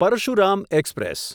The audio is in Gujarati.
પરશુરામ એક્સપ્રેસ